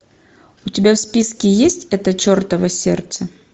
у тебя в списке есть это чертово сердце